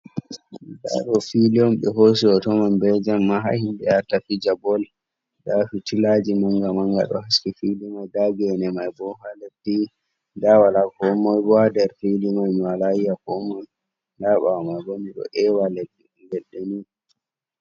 Ndaa ɗoo suudu on ɓe hooci hooto may bee Jemma ha yimɓe yahata fija"bol". Ndaa fitilaawaaji mannga-mannga ɗo haski suudu may. Ndaa geene may bo ha leddi, ndaa walaa koo moy bo ha suudu may. Mi walaa yi'a koo moy, ndaa ɓaawo man bo mi ɗo ƴeewa leɗɗe nii.